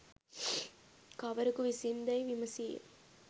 කවරෙකු විසින් දැයි විමසීය.